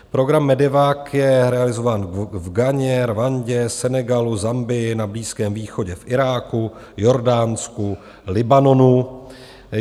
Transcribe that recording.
Program MEDEVAC je realizován v Ghaně, Rwandě, Senegalu, Zambii, na Blízkém východě, v Iráku, Jordánsku, Libanonu.